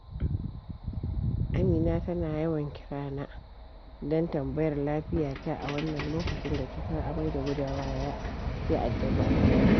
Amina tana yawan kira na don tambayar lafiya ta a wannan lokacin da cutar amai da gudawa ya addabi al'umma.